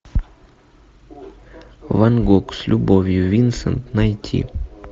ван гог с любовью винсент найти